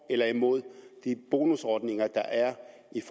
eller imod de bonusordninger der er